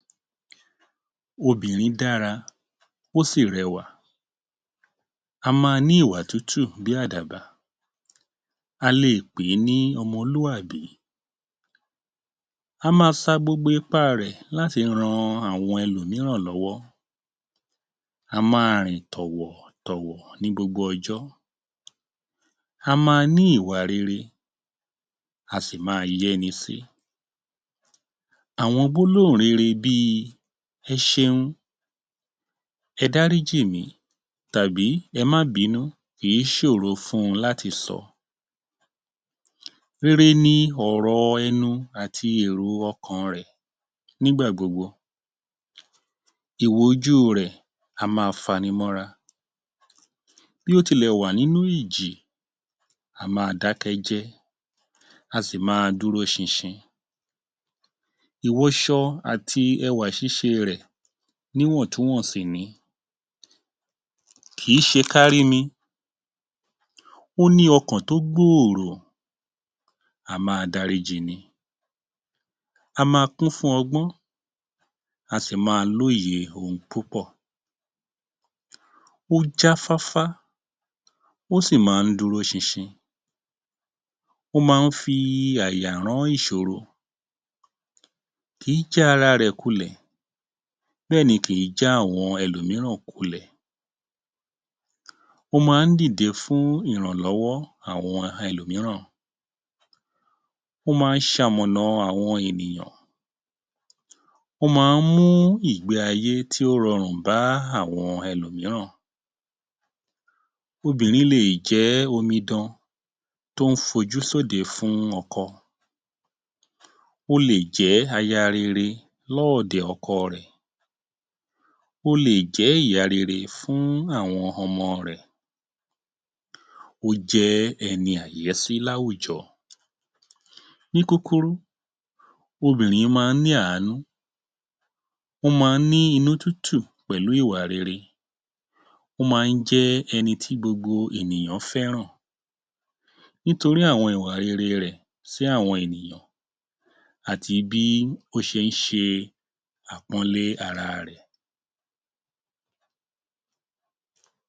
Obìnrin dára, ó sì rẹwà. Á ma ní ìwà tútù bí àdàbà, a lè pè é ní ọmọlúwàbí. Á ma sa gbogbo ipá rẹ̀ láti rán àwọn ẹlòmíràn lọ́wọ́, a máa rìn tọ̀wọ̀ tọ̀wọ̀ ni gbogbo ọjọ́, á ma ní ìwà rere, a sì ma yẹ́ni sí. Àwọn gbólóhùn rere bíi: ẹ ṣeun, ẹ dáríjì mì, tàbí ẹ má binú kì í ṣòro fún wọn láti sọ. Rere ní ọ̀rọ̀ ẹnu àti èrò ọkàn rẹ̀ nígbà gbogbo, ìwò ojú u rẹ̀ á ma fa ni mọ́ra. Bí ó tilẹ̀ wà nínú ìjì a má a dá kẹ́ jẹ́, a sì ma dúró ṣinṣin. Ìwọṣọ àti ẹwà ṣíṣe rẹ̀ ní wọ̀ntún-wònsì ni. Kì í ṣe kárí mi, ó ní ọkàn tó gbòòrò, a máa dáríji ni, á ma kún fún ọgbọ́n, a sì ma lóye ohun púpọ̀. Ó já fáfá, ó sì máa ń dúró ṣinṣin, ó máa ń fi àyà rán ìṣòro. Kì í já ará rẹ̀ kulẹ̀, bẹ́ẹ̀ ni kì í já àwọn ẹlòmíràn kulẹ̀. Ó máa ń dìde fún ìrànlọ́wọ́ àwọn ẹlòmíràn, ó máa ń ṣamọ̀nà àwọn ènìyàn, ó máa ń mú ìgbé ayé tí ó rọrùn bá àwọn ẹlòmíràn. Obìnrin lè jẹ́ omidan tó ń fojú sóde fún ọkọ, ó lè jẹ́ aya rere lọ́ọ̀dẹ̀ ọkọ rẹ̀, ó lè jẹ́ ìyá rere fún àwọn ọmọ rẹ̀, ó jẹ́ ẹni àyẹ́sí láwùjọ. Ní kúkúrú, obìnrin máa ní àánú, ó máa ń ní inú tútù pẹ̀lú ìwà rere, ó máa ń jẹ́ ẹni tí gbogbo ènìyàn fẹ́ràn nítorí àwọn ìwà rere rẹ̀ sí àwọn ènìyàn, àti bí ó ṣe ń ṣe àpọ́nlé ara rẹ̀.